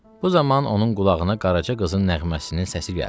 Bu zaman onun qulağına qaraca qızın nəğməsinin səsi gəldi.